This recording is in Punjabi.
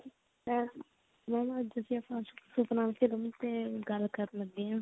ਅਹ mam ਅੱਜ ਅਸੀਂ ਆਪਾਂ ਸੁਪਨਾ film ਤੇ ਗੱਲ ਕਰਨ ਲੱਗੇ ਆਂ